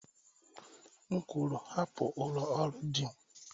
M kwuru, hapụ ụlọ ọrụ Dean